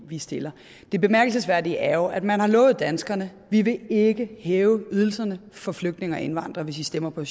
vi stiller det bemærkelsesværdige er jo at man har lovet danskerne vi vil ikke hæve ydelserne for flygtninge og indvandrere hvis i stemmer på